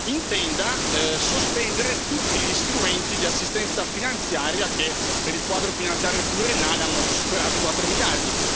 intenda sospendere tutti gli strumenti di assistenza finanziaria che, per il Quadro finanziario pluriennale, hanno superato i 4 miliardi.